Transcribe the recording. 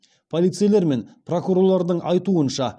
полицейлер мен прокурорлардың айтуынша